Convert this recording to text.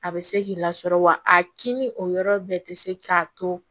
A bɛ se k'i lasɔrɔ wa a kini o yɔrɔ bɛɛ tɛ se k'a to